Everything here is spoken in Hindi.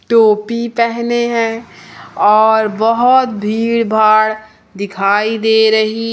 टोपी पहने हैं और बहुत भीड़ भाड़ दिखाई दे रही--